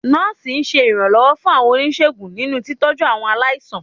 Nọ́ọ̀sì ṣe iranlọwọ fún àwọn onisegún ninú tíitọju awọn aláísàn.